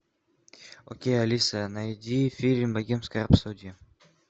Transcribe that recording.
окей алиса найди фильм богемская рапсодия